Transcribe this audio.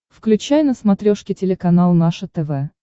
включай на смотрешке телеканал наше тв